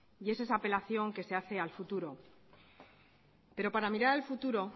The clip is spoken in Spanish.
y es esa apelación que se hace al futuro pero para mirar al futuro